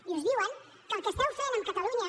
i us diuen que el que esteu fent amb catalunya